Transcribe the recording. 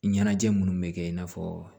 Ɲɛnajɛ munnu bɛ kɛ i n'a fɔ